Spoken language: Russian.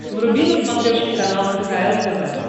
вруби на смотрешке канал кхл тв